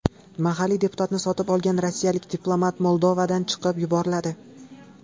Mahalliy deputatni sotib olgan rossiyalik diplomat Moldovadan chiqarib yuboriladi.